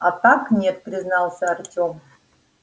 а так нет признался артём